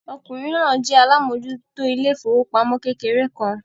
Ọkùnrin náà jẹ́ alámòjútó ilé ìfowópamọ́ kékeré kan.